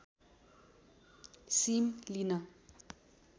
SIM लिन